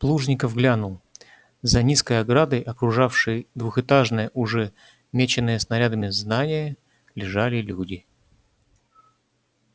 плужников глянул за низкой оградой окружавшей двухэтажное уже меченное снарядами здание лежали люди